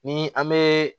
Ni an be